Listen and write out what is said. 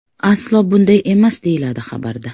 Aslo bunday emas”, deyiladi xabarda.